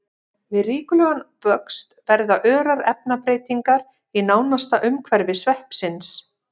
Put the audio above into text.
Við ríkulegan vöxt verða örar efnabreytingar í nánasta umhverfi sveppsins.